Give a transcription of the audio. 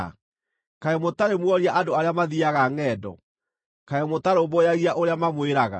Kaĩ mũtarĩ muoria andũ arĩa mathiiaga ngʼendo? Kaĩ mũtarũmbũyagia ũrĩa mamwĩraga: